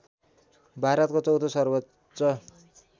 भारतको चौथो सर्वोच्च